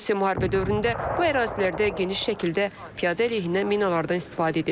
Rusiya müharibə dövründə bu ərazilərdə geniş şəkildə piyada əleyhinə minalardan istifadə edib.